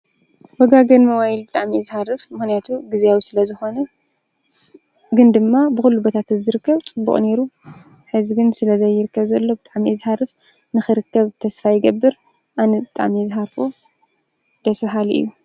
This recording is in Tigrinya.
።።ወጋ ገን መዋይል ብጣሚ እዝኃርፍ ምኅነያቱ ጊዜያዊ ስለ ዝኾነ ግን ድማ ብዂሉ በታ ተዘርከብ ጥብኦ ነይሩ ሕዝግን ስለ ዘይርከ ዘሎ ብጣሚ እዝኃርፍ ንኽርከብ ተስፋ ይገብር ኣነ ጣሜ ዝሃርፎ ደስብሃል እዩእዩ።